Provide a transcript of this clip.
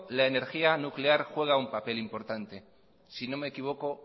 la energía nuclear juega un papel importante si no me equivoco